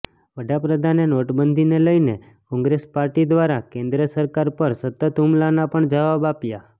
વડાપ્રધાને નોટબંધીને લઈને કોંગ્રેસ પાર્ટી દ્વારા કેન્દ્ર સરકાર પર સતત હુમલાના પણ જવાબ આપ્યાં